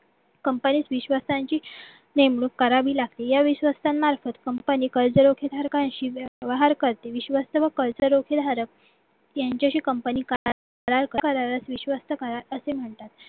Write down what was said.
company त विश्वस्तरांची नेमणूक करावी लागते या विश्वासां मार्फत कर्जरोख्यां धारकांशी व हरकत विश्वास तरी कर्जरोखे धारक यांच्याशी company विश्वस्त करार असे म्हणतात